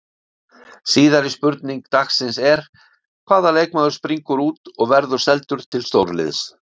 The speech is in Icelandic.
Síðari spurning dagsins er: Hvaða leikmaður springur út og verður seldur til stórliðs?